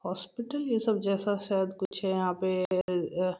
Hospital यह सब जैसा शायद कुछ यहाँ पे ।